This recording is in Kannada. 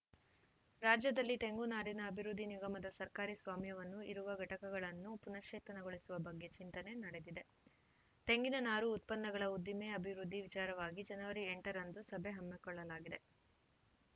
ರಾಜ್ಯದಲ್ಲಿ ತೆಂಗು ನಾರಿನ ಅಭಿವೃದ್ಧಿ ನಿಗಮದ ಸರ್ಕಾರಿ ಸ್ವಾಮ್ಯದಲ್ಲಿ ಇರುವ ಘಟಕಗಳನ್ನು ಪುನಶ್ಚೇತನಗೊಳಿಸುವ ಬಗ್ಗೆ ಚಿಂತನೆ ನಡೆದಿದೆ ತೆಂಗಿನ ನಾರು ಉತ್ಪನ್ನಗಳ ಉದ್ದಿಮೆ ಅಭಿವೃದ್ಧಿ ವಿಚಾರವಾಗಿ ಜನವರಿ ಎಂಟ ರಂದು ಸಭೆ ಹಮ್ಮಿಕೊಳ್ಳಲಾಗಿದೆ